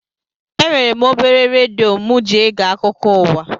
Enwere m obere redio mụ ji ege akụkọ ụwa